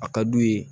A ka d'u ye